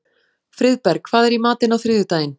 Friðberg, hvað er í matinn á þriðjudaginn?